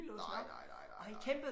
Nej nej nej nej nej